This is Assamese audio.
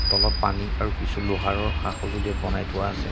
তলত পানী আৰু কিছু লোহাৰৰ সা সজুঁলি ইয়াত বনাই থোৱা আছে।